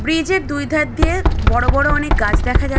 bridge এর দুই ধার দিয়ে বড় বড় অনেক গাছ দেখা যা--